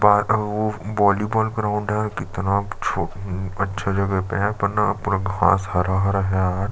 Park अउ volleyball ground है कितना छो हम्म अच्छा जगह पे है यहाँ पर ना पूरा घास हरा -हरा है यार।